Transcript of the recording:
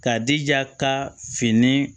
K'a jija ka fini